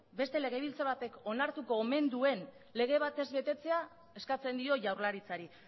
beste legebiltzar batek onartuko omen duen lege bat ez betetzea eskatzen dio jaurlaritzari